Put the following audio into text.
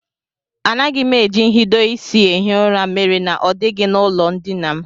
Anaghị m eji nhidoisi ehi ụra mere na ọ dịghị n'ụlọndina m